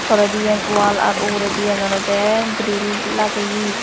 tolediyen wall ar uguredi yen olode grill lageye.